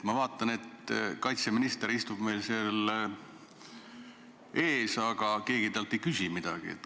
Ma vaatan, et kaitseminister istub meil seal ees, aga keegi talt ei küsi midagi.